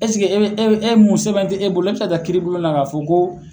Eseke e e e mun sɛbɛn tɛ e bolo e bɛ se ka taa kiiribulon na ka fɔ ko